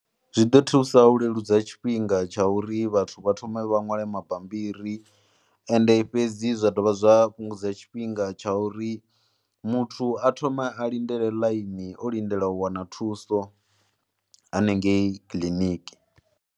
Zwi ḓo thusa u leludza tshifhinga tsha uri vhathu vha thome vha ṅwale mabambiri ende fhedzi zwa dovha zwa fhungudza tshifhinga tsha uri muthu a thome a lindele ḽaini o lindela u wana thuso hanengei kiḽiniki.